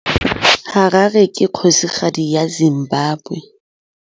Harare ke kgosigadi ya Zimbabwe.